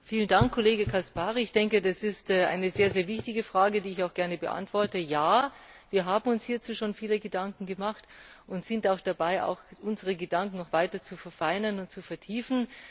Herr Präsident! Vielen Dank, Kollege Caspary! Ich denke, das ist eine sehr wichtige Frage, die ich auch gerne beantworte Ja, wir haben uns hierzu schon viele Gedanken gemacht, und wir sind dabei, unsere Gedanken noch weiter zu verfeinern und zu vertiefen.